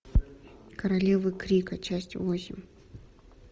королевы крика часть восемь